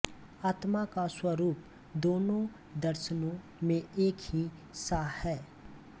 आत्मा का स्वरूप दोनों दर्शनों में एक ही सा है